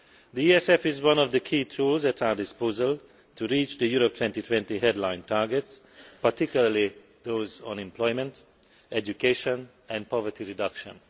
The ESF is one of the key tools at our disposal in reaching the Europe 2020 headline targets, particularly those on employment, education and poverty reduction.